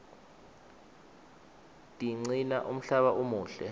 tiqcina umhlaba umuhle